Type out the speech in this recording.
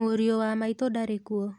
Mũriũ wa maitũ ndarí kuo.